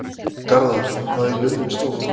Garðar, hvað er jörðin stór?